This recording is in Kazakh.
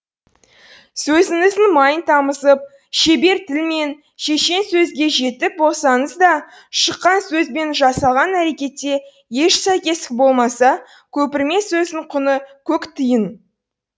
сөзіңіздің майын тамызып шебер тіл мен шешен сөзге жетік болсаңыз да шыққан сөз бен жасалған әрекетте еш сәйкестік болмаса көпірме сөздің құны көк тиын